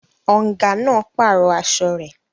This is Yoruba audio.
Ọ̀ǹgà náà pàrọ̀ aṣọ rẹ̀